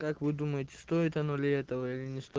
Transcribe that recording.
как вы думаете стоит оно этого или не сто